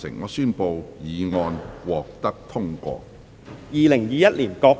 我宣布議案獲得通過。